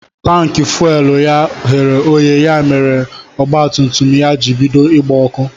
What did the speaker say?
Tanki fuwelu ya ghere oghe ya mere mèrè ọgba tum tum ya jị bido ịgba ọkụ.